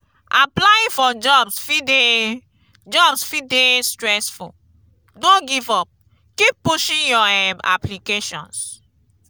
applying for jobs fit dey jobs fit dey stressful; no give up keep pushing your um applications.